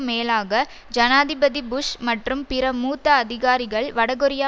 மேலாக ஜனாதிபதி புஷ் மற்றும் பிற மூத்த அதிகாரிகள் வடகொரியா